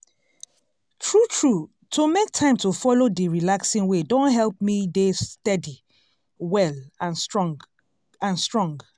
true true to make time to follow d relaxing way don help me dey steady well and strong. and strong.